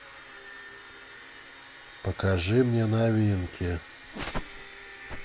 покажи мне новинки